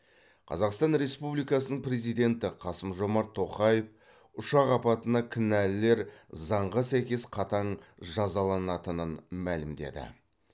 қазақстан республикасының президенті қасым жомарт тоқаев ұшақ апатына кінәлілер заңға сәйкес қатаң жазаланатынын мәлімдеді